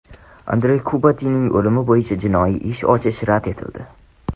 Andrey Kubatinning o‘limi bo‘yicha jinoiy ish ochish rad etildi.